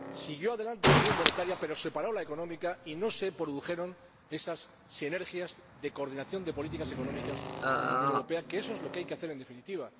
Siguió adelante la unión monetaria, pero se paró la económica y no se produjeron esas sinergias de coordinación de políticas económicas en la Unión Europea, que eso es lo que hay que hacer, en definitiva.